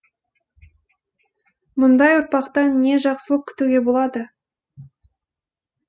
мұндай ұрпақтан не жақсылық күтуге болады